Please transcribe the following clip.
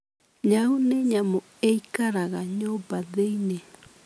Nyau nĩ nyamũ ĩikaraga nyũmba thĩinĩ.